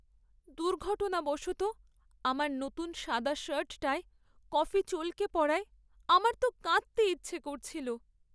দুর্ঘটনাবশত আমার নতুন সাদা শার্টটায় কফি চলকে পড়ায় আমার তো কাঁদতে ইচ্ছে করছিল।